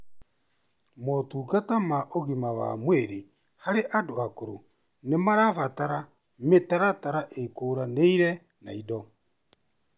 Motungata ma ũgima wa mwĩrĩ harĩ andũ akũrũ nĩmarabatara mĩtaratara ĩkũranĩire na indo